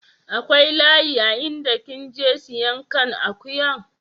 Akwai layi a inda kin je siyan kan akuyan?